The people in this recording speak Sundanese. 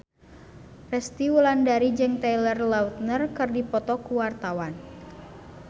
Resty Wulandari jeung Taylor Lautner keur dipoto ku wartawan